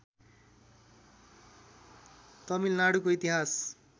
तमिलनाडुको इतिहास